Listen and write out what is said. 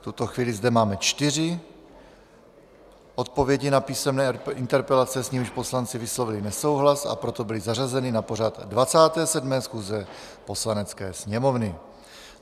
V tuto chvíli zde máme čtyři odpovědi na písemné interpelace, s nimiž poslanci vyslovili nesouhlas, a proto byly zařazeny na pořad 27. schůze Poslanecké sněmovny.